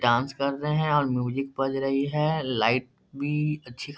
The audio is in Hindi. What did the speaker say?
डांस कर रहे हैं और म्यूजिक बज रही है लाइट भी अच्छी --